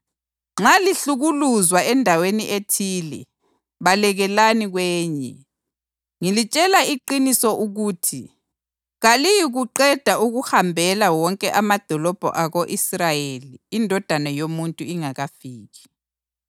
Nxa lihlukuluzwa endaweni ethile, balekelani kwenye. Ngilitshela iqiniso ukuthi kaliyikuqeda ukuwahambela wonke amadolobho ako-Israyeli iNdodana yoMuntu ingakafiki.